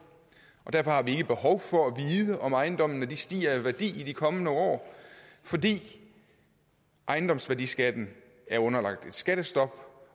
og derfor har vi ikke behov for at vide om ejendommene stiger i værdi i de kommende år fordi ejendomsværdiskatten er underlagt et skattestop